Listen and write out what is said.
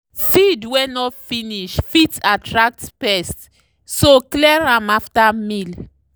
feed wey no finish fit attract pests so clear am after meal.